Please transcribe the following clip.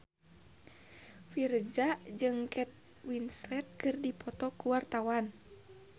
Virzha jeung Kate Winslet keur dipoto ku wartawan